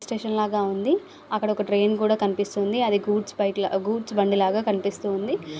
Station లాగా ఉంది అక్కడ ఒక ట్రైన్ కూడా కనిపిస్తుంది. అది గూడ్స్ బైక్ లాగా గూడ్స్ బండిలాగా కనిపిస్తుంది.